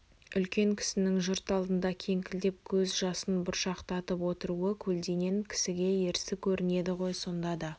үлкен кісінің жұрт алдында кеңкілдеп көз жасын бұршақтатып отыруы көлденең кісіге ерсі көрінеді ғой сонда да